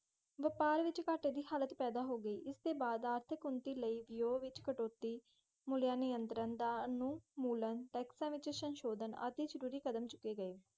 ਵਪਾਰ ਵਿੱਚ ਘਾਟੇ ਦੀ ਹਾਲਤ ਪੈਦਾ ਹੋ ਗਈ। ਇਸਦੇ ਬਾਅਦ ਆਰਥਕ ਉੱਨਤੀ ਲਈ ਵਿਅਯੋਂ ਵਿੱਚ ਕਟੌਤੀ, ਮੂਲਿਅਨਿਅੰਤਰਣ ਦਾ ਉਨਮੂਲਨ, ਟੈਕਸਾਂ ਵਿੱਚ ਸੰਸ਼ੋਧਨ ਆਦਿ ਜ਼ਰੂਰੀ ਕਦਮ ਚੁੱਕੇ ਗਏ।